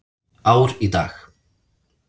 Ár í dag.